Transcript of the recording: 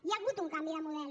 hi ha hagut un canvi de model